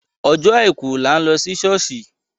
Ọjọ́ àìkù là ń lọ sí ṣọ̀ọ́ṣì.